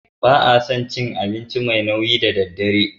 Ba a son cin abinci mai nauyi da daddare.